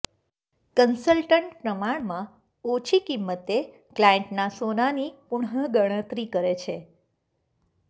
consultant પ્રમાણમાં ઓછી કિંમતે ક્લાયન્ટના સોનાની પુનઃ ગણતરી કરે છે